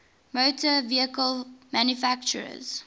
motor vehicle manufacturers